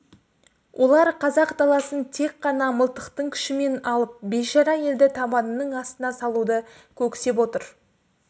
олар қазақ даласын тек қана мылтықтың күшімен алып бейшара елді табанының астына салуды көксеп отыр